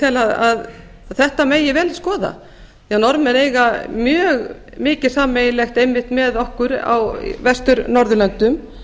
tel að þetta megi vel skoða því að norðmenn eiga mjög mikið sameiginlegt einmitt með okkur á vestur norðurlöndum